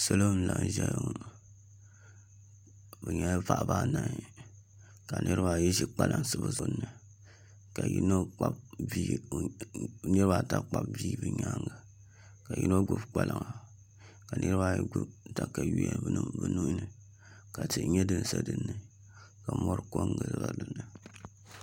Salo n laɣam ʒɛya ŋɔ bi nyɛla paɣaba anahi ka niraba ayi ʒi kpalansi bi zuɣu ni ka niraba ata kpabi bihi bi nyaanga ka yino gbubi kpalaŋa ka niraba ayi gbubi katawiya bi nuhuni ka tihi nyɛ din sa n giliba ka mori ko n giliba dinni